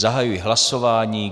Zahajuji hlasování.